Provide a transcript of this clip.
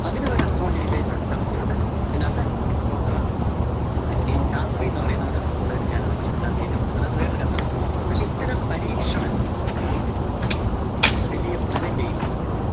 അതിനുവരെ astrology debate ഒണ്ട് ചര്‍ച്ചയൊണ്ട് അതിനകത്തെ doctor ശാസ്ത്രിന്നു പറയുന്നൊരു astrologer റും ഞാനും തമ്മില്‍ അതിനകത്ത് ഏറ്റുമുട്ടുന്നൊണ്ട്. അത് വേറൊരു കഥ. പക്ഷെ ഇത്തരം പരീക്ഷണങ്ങള്‍ വലിയ ഫലം ചെയ്യുന്ന സംഗതി